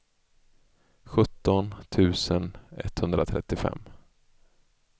sjutton tusen etthundratrettiofem